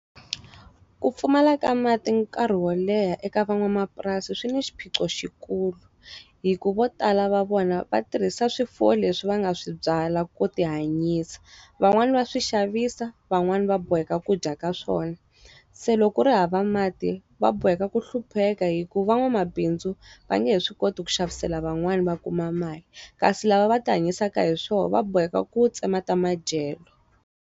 Ku pfumala ka mati nkarhi wo leha eka van'wamapurasi swi ni xiphiqo xi kulu, hikuva vo tala va vona va tirhisa swifuwo leswi va nga swi byala ku ti hanyisa. Van'wani va swi xavisa, van'wani va boheka ku dya ka swona. Se loko ku ri hava mati, va boheka ku hlupheka hikuva van'wamabindzu, va nge swi koti ku xavisela van'wani va kuma mali. Kasi lava va ti hanyisaka hi swona va boheka ku tsema ta madyelo.